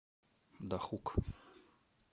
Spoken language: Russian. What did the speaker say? дахук